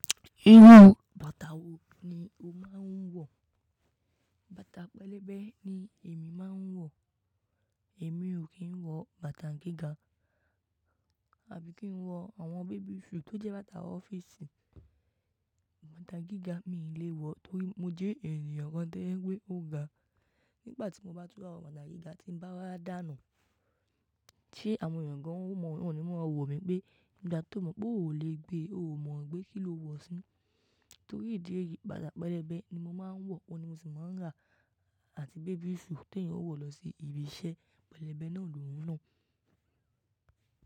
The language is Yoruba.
Irú bàtà wo ni o máa ń wọ̀? Bàtà pẹlẹbẹ ni èmi máa ń wọ̀. Èmi ò kí ń wọ bàtà gíga àbí kí ń wọ àwọn baby shoe tó jẹ́ bàtà ọ́fíìsì. Bàtà gíga mí lé wọ torí mo jẹ ènìyàn kàn to jẹ pé mo gbà. Nígbà tí mo bá tún wa wọ bàtà gíga tí bá dá nù, tí àwọn ènìyàn kan ó mọ̀ wọ́n ni wọ́n máa wò mí pé, "Nígbà tí o mọ̀ pé o ò lè gbé, o ò mọ̀ gbé kí lo wọ̀ sí?" Torí ìdí èyí, bàtà pẹlẹbẹ ni mo máa ń wọ̀, òun ni mo sì máa ń rà àti baby shoe tí èèyàn ó wọ̀ lọ sí ibi iṣẹ́. Pẹlẹbẹ náà lòún nà.